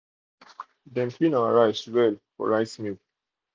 dem clean our rice clean our rice well for rice mill.